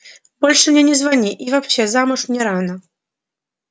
больше мне не звони и вообще замуж мне рано